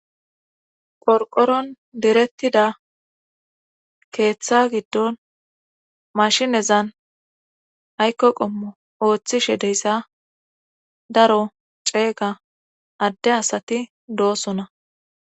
Qorqoron direttida keeththa giddon mashinezan aykko qommo ooththishe deyssa daro ceeyga adde asati doosona.